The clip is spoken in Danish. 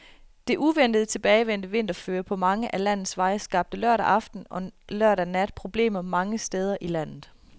Det uventet tilbagevendte vinterføre på mange af landets veje skabte lørdag aften og lørdag nat problemer mange steder i landet.